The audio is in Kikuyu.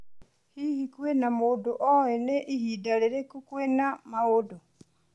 Hihi, kwĩna mũndũ oĩ nĩ ihinda rĩrĩkũ kwĩna maũndũ?